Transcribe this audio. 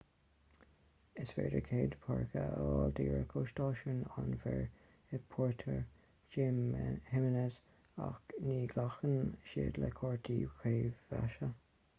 is féidir cead páirce a fháil díreach ó stáisiún an mhaoir i puerto jiménez ach ní ghlacann siad le cártaí creidmheasa